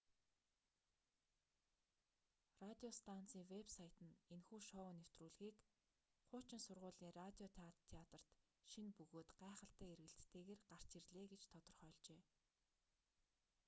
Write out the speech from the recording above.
радио станцын вэб сайт нь энэхүү шоу нэвтрүүлгийг хуучин сургуулийн радио театр шинэ бөгөөд гайхалтай эргэлттэйгээр гарч ирлээ гэж тодорхойлжээ